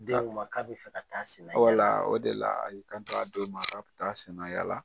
Den ko n ma k'a bɛ taa a senna yaala, walla, o de la a y'i kan to a den ma k'a bɛ taa a senna yaala.